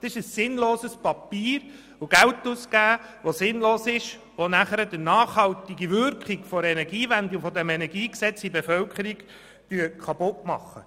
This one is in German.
Das ist ein sinnloses Papier, und es ist sinnlos, dafür Geld auszugeben, weil man damit nur die nachhaltige Wirkung der Energiewende und des Energiegesetzes in der Bevölkerung kaputt macht.